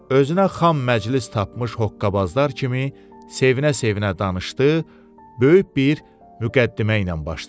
Özünə xam məclis tapmış hoqqabazlar kimi sevinə-sevinə danışdı, böyük bir müqəddimə ilə başladı.